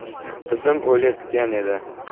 Qizim o‘layotgan edi.